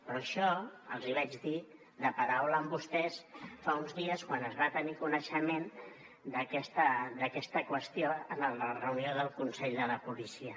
però això els hi vaig dir de paraula a vostès fa uns dies quan es va tenir coneixement d’aquesta qüestió en la reunió del consell de la policia